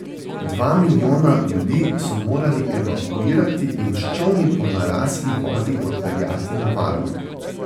Dva milijona ljudi so morali evakuirati in s čolni po narasli vodi odpeljati na varno.